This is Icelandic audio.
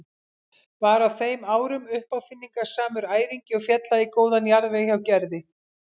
Var á þeim árum uppáfinningasamur æringi og féll það í góðan jarðveg hjá Gerði.